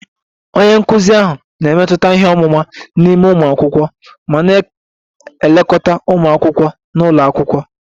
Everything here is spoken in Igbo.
Onye nkụzi ahụ na-emetụta ihe ọmụma n'ime ụmụ akwụkwọ ma na-elekọta ụmụ akwụkwọ nọ n'ụlọ akwụkwọ